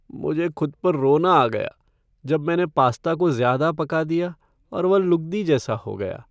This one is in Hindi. मुझे खुद पर रोना आ गया जब मैंने पास्ता को ज़्यादा पका दिया और वह लुगदी जैसा हो गया।